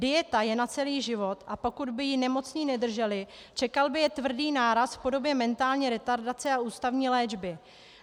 Dieta je na celý život, a pokud by ji nemocní nedrželi, čekal by je tvrdý náraz v podobě mentální retardace a ústavní léčby.